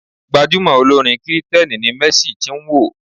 Gbajumo olórin kìrìtẹ̀ni ni Mercy Chinwo.